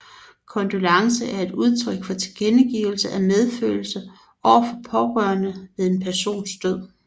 Kondolence er udtryk for tilkendegivelse af medfølelse over for pårørende ved en persons død